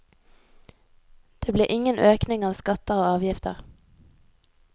Det blir ingen økning av skatter og avgifter.